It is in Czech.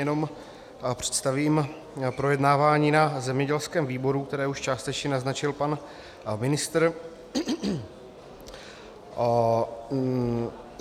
Jenom představím projednávání na zemědělském výboru, které už částečně naznačil pan ministr.